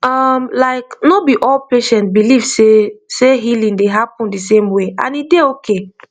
um like no be all patient believe sey healing sey healing dey happen the same way and e dey ok